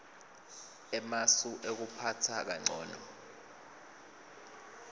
emasu ekuphatsa kancono